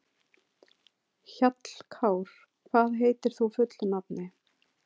Hjallkár, hvað heitir þú fullu nafni?